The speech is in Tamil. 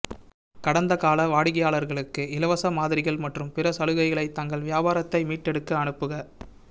கடந்தகால வாடிக்கையாளர்களுக்கு இலவச மாதிரிகள் மற்றும் பிற சலுகைகளை தங்கள் வியாபாரத்தை மீட்டெடுக்க அனுப்புக